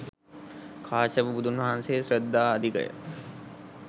කාශ්‍යප බුදුන් වහන්සේ ශ්‍රද්ධා අධික ය.